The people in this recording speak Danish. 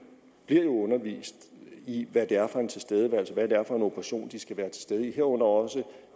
bliver jo undervist i hvad det er for en tilstedeværelse hvad det er for en operation de skal være til stede i herunder også